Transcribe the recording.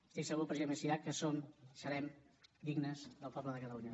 estic segur president macià que som serem dignes del poble de catalunya